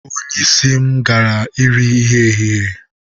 Onye isi m gara iri nri ehihie.